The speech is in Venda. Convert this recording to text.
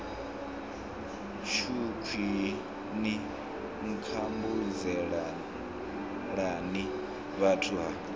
tshukhwii ni nkhumbudzelani vhuthu ha